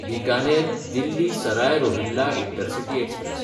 Bikaner-Delhi Sarai Rohilla intercity express